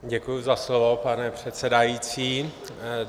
Děkuju za slovo, pane předsedající.